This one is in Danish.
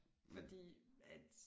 Fordi at